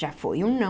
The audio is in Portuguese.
Já foi um não.